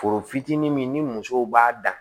Foro fitinin min ni musow b'a dan